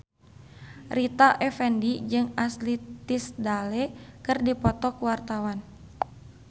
Rita Effendy jeung Ashley Tisdale keur dipoto ku wartawan